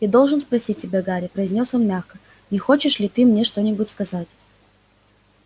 я должен спросить тебя гарри произнёс он мягко не хочешь ли ты мне что-нибудь сказать